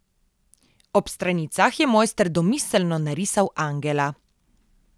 Ob stranicah je mojster domiselno narisal angela.